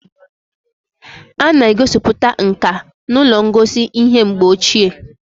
A na-egosiputa nka n'ụlọ ngosi ihe mgbe ochie